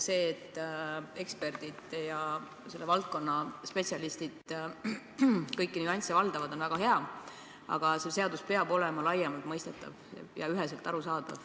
See, et eksperdid, selle valdkonna spetsialistid kõiki nüansse valdavad, on väga hea, aga seadus peab olema laiemalt mõistetav ja üheselt arusaadav.